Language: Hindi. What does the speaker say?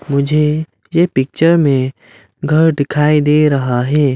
मुझे ये पिक्चर मे घर दिखाई दे रहा है।